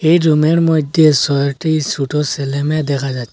এই রুমের মধ্যে সয়টি সোটো সেলে মেয়ে দেখা যা--